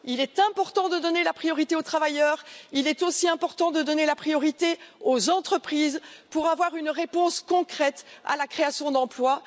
Il est important de donner la priorité aux travailleurs, il est aussi important de donner la priorité aux entreprises pour avoir une réponse concrète en matière de création d'emplois.